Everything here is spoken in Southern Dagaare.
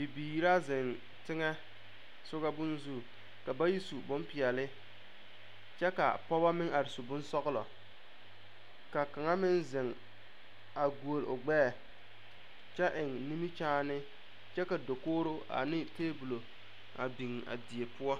Biiri la zeŋ teŋɛ soga bonne zu ka bayi bonpeɛlle kyɛ ka pɔgeba meŋ are su bonsɔglɔ ka kaŋa meŋ zeŋ a guolle o gbɛɛ kyɛ eŋ nimikyaane kyɛ ka dakogre ane tabola a biŋ a die poɔ.